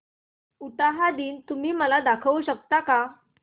उटाहा दिन तुम्ही मला दाखवू शकता का